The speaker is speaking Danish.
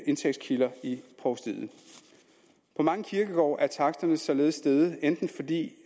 indtægtskilder i provstiet på mange kirkegårde er taksterne således steget enten fordi det